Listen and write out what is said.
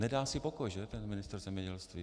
Nedá si pokoj, že, ten ministr zemědělství.